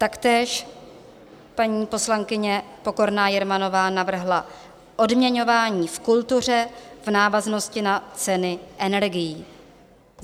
Taktéž paní poslankyně Pokorná Jermanová navrhla Odměňování v kultuře v návaznosti na ceny energií.